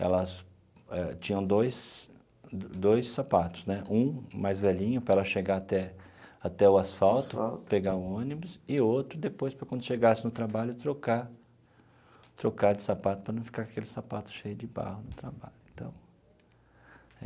Elas eh tinham dois dois sapatos né, um mais velhinho, para ela chegar até até o asfalto, pegar o ônibus, e outro, depois, para quando chegasse no trabalho, trocar trocar de sapato, para não ficar com aquele sapato cheio de barro no trabalho e tal.